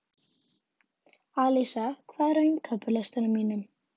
Alísa, hvað er á innkaupalistanum mínum?